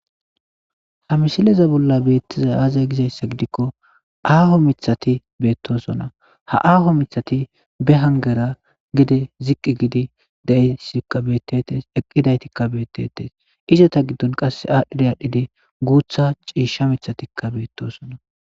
Ha misileza bolla beettiza aaza gizayssa gidikko aaho mithati beettosona ha aaho mithati be hangera gede ziqqi gidi daeeqqi daytikka beettetes izota giddon qasse aadhdhida aadhdhidi guutha ciisha mithatikka beettosona.